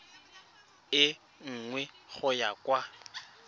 e nngwe go ya kwa